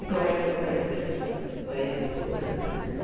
E como é que você conheceu sua sua ex-esposa?